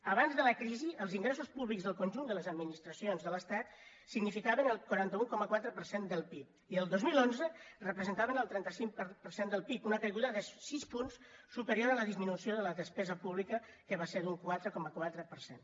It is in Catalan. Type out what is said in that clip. abans de la crisi els ingressos públics del conjunt de les administracions de l’estat significaven el quaranta un coma quatre per cent del pib i el dos mil onze representaven el trenta cinc per cent del pib una caiguda de sis punts superior a la disminució de la despesa pública que va ser d’un quatre coma quatre per cent